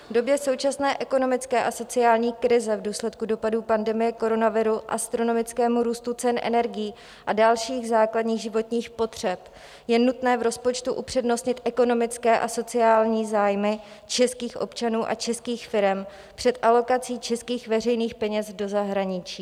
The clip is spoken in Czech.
V době současné ekonomické a sociální krize, v důsledku dopadů pandemie koronaviru, astronomického růstu cen energií a dalších základních životních potřeb je nutné v rozpočtu upřednostnit ekonomické a sociální zájmy českých občanů a českých firem před alokací českých veřejných peněz do zahraničí.